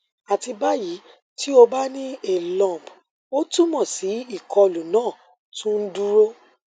ati bayi ti o ba ni a lump o tumọ si ikolu naa tun n duro